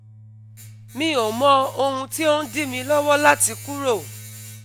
Mi ò mọ ohun tí ó ń dí mi lọ́wọ́ láti kúrò